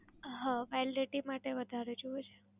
હા, Validity માટે વધારે જોઈએ છે.